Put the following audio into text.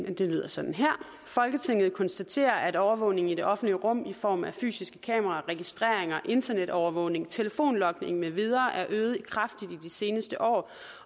lyder sådan her folketinget konstaterer at overvågningen i det offentlige rum i form af fysiske kameraer registreringer internetovervågning telefonlogning med videre er øget kraftigt i de seneste år